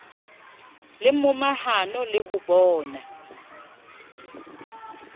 le momahano le ho bona